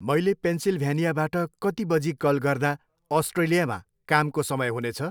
मैले पेन्सिलभ्यानियाबाट कति बजी कल गर्दा अस्ट्रेलियामा कामको समय हुनेछ?